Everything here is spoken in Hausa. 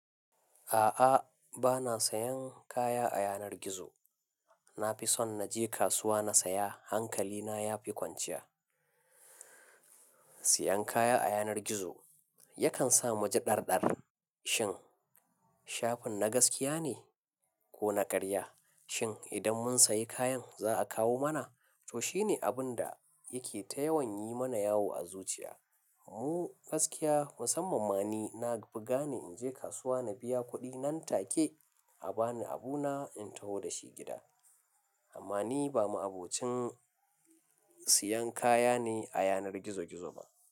A'a, ba na sayan kaya a yanar gizo. Na fi son na je kasuwa na saya. Hankali na ya fi kwanciya. Siyan kaya a yanar gizo yakan sa mu ji ɗar-ɗar. Shin shafin na gaskiya ne ko na ƙarya? Shin idan mun sayi kayan za a kawo mana? To, shine abin da yake ta yawan yi mana yawo a zuciya. Mu gaskiya musamman ma ni, na fi gane in je kasuwa na biya kuɗi nan take a ba ni abu na in taho da shi gida. Amma ni ba ma'abocin siyan kaya ne a yanar gizo-gizo ba.